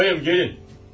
Hey bayım, gəlin.